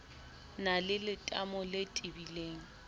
na le letamo le tebileng